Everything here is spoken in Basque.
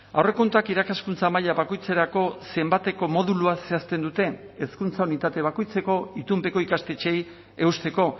aurrekontuak irakaskuntza maila bakoitzerako zenbateko moduluak zehazten dute hezkuntza unitate bakoitzeko itunpeko ikastetxeei eusteko